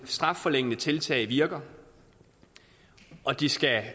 strafforlængende tiltag virker og de skal